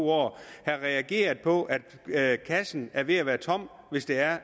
to år have reageret på at kassen er ved at være tom hvis det er